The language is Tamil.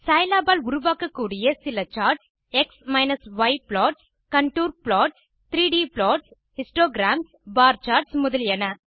சிலாப் ஆல் உருவாக்கக்கூடிய சில charts160 x y plots contour plots 3ட் ப்ளாட்ஸ் ஹிஸ்டோகிராம்ஸ் பார் சார்ட்ஸ் முதலியன